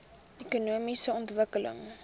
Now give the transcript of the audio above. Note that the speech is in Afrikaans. ekonomiese ontwikkeling